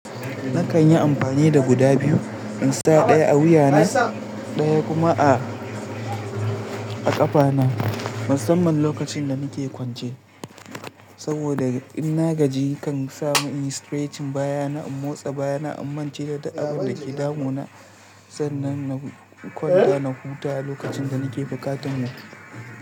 Nakan yi amfani da guda biyu, in sa ɗaya a wuya na, ɗaya kuma a, a ƙafa na. Musamman lokacin da nake kwance, saboda in na gaji kan samu in stretching baya na in motsa baya na in mantche da abin da ke damu na sannan na kwanta na huta lokacin da nake buƙatar hutu.